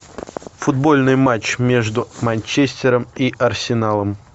футбольный матч между манчестером и арсеналом